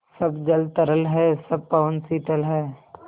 सब जल तरल है सब पवन शीतल है